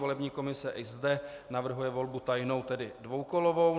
Volební komise i zde navrhuje volbu tajnou, tedy dvoukolovou.